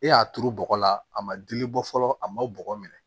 E y'a turu bɔgɔ la a ma dili bɔ fɔlɔ a ma bɔgɔ minɛ